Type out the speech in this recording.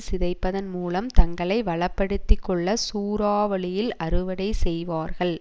சிதைப்பதன் மூலம் தங்களை வளப்படுத்திக்கொள்ள சூறாவளியில் அறுவடை செய்வார்கள்